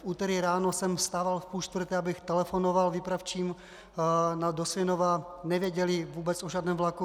V úterý ráno jsem vstával v půl čtvrté, abych telefonoval výpravčím do Svinova, nevěděli vůbec o žádném vlaku.